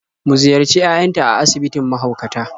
Mu ziyarci yayanta a asibitin mahaukata.